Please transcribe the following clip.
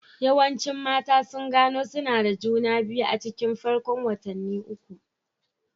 Yawancin mata sun gano suna da juna biyu a cikin farkon watanni uku.